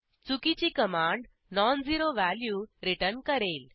चुकीची command non zero value return करेल